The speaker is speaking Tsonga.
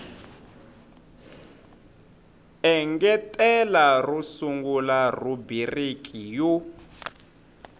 engetela ro sungula rhubiriki yo